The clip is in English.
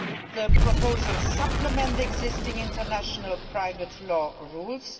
The proposals supplement existing international private law rules.